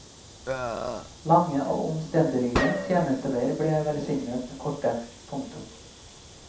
Lange og omstendelige tjenesteveier ble velsignet korte. punktum